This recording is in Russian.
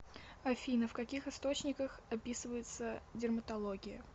афина в каких источниках описывается дерматология